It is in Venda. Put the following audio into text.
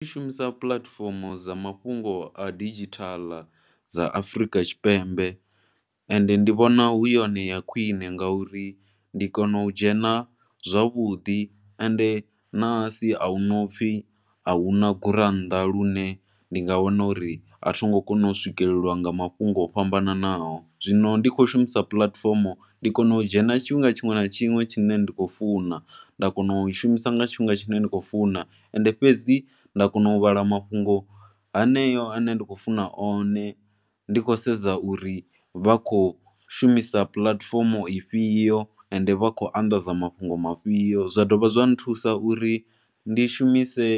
Nṋe ndi shumisa puḽatifomo dza mafhungoa didzhithala dza Afrika Tshipembe and ndi vhona hu yone ya khwine ngauri ndi kona u dzhena zwavhuḓi and ṋahasi a hu na upfhi a hu na gurannḓa lune ndi nga wana uri a tho ngo kona u swikelelwa nga mafhungo fhambananaho. Zwino ndi khou shumisa puḽatifomo ndi kona u dzhena tshifhinga tshiṅwe na tshiṅwe tshine ndi khou funa. Nda kona u i shumisa nga tshifhinga tshine ndi khou funa and fhedzi nda kona u vhala mafhungo haneo a ne nda khou funa one. Ndi khou sedza uri vha khou shumisa puḽatifomo ifhio and vha khou anḓadza mafhungo mafhio. Zwa dovha zwa nthusa uri ndi shumise